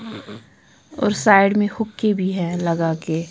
और साइड में हुक्के भी हैं लगा के--